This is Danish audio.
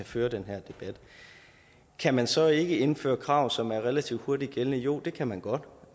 føre den her debat kan man så ikke indføre krav som er relativt hurtigt gældende jo det kan man godt